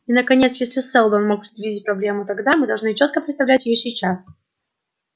и наконец если сэлдон мог предвидеть проблему тогда мы должны чётко представлять её сейчас